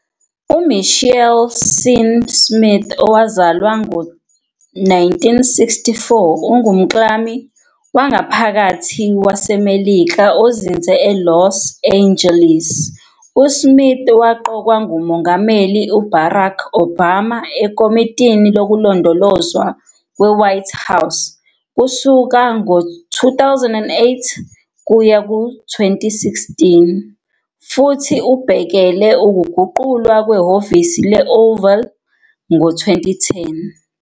UMichael Sean Smith, owazalwa ngo-1964, ungumklami wangaphakathi waseMelika ozinze eLos Angeles. USmith waqokwa nguMongameli uBarack Obama eKomitini Lokulondolozwa kweWhite House kusuka ngo-2008 kuya ku-2016 futhi ubhekele ukuguqulwa kweHhovisi le-Oval ngo-2010.